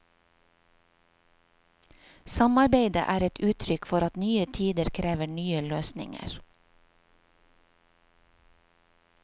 Samarbeidet er et uttrykk for at nye tider krever nye løsninger.